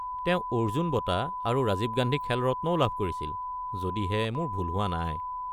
তেওঁ অৰ্জুন বঁটা আৰু ৰাজীৱ গান্ধী খেল ৰত্নও লাভ কৰিছিল, যদিহে মোৰ ভুল হোৱা নাই।